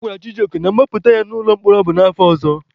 A gwara Chijioke na mgbapụta ya n'ụlọ mkpọrọ bụ n'afọ ọzọ.